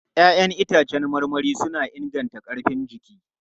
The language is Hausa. Ya'yan itãcen marmari suna inganta ƙarfin jiki.